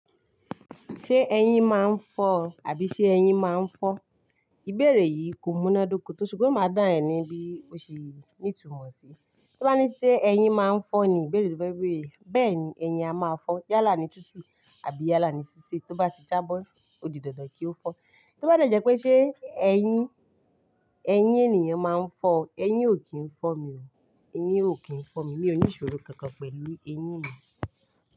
Ṣé eyín máa ń fọ́ àbí ṣe eyín máa ń fọ́n? Ìbéèrè yìí kò múná dóko tó, ṣùgbọ́n máa dá ẹ ní bí ó ṣe ní ìtumọ̀ sí. Tó bá ní ṣé eyín máa ń fọ́ ni, ìbéèrè yìí ò bá béèrè. Bẹ́ẹ̀ni, eyín a máa fọ́ yálà ni tútù àbí yálà ni sí sé. Tó bá ti jábọ́, ó di dandan kí ó fọ́. Tó bá dẹ̀jẹ́ pé ṣé eyín, eyín ènìyàn máa ń fọ́, eyín ò kí ń fọ́ mi ò. Eyín ò kí ń fọ́ mi. Mi ò ní ìṣòro kankan pẹ̀lú eyín mi.